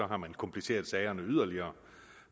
har man kompliceret sagerne yderligere